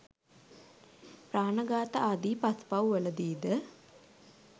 ප්‍රාණඝාත ආදි පස්පව් වලදීද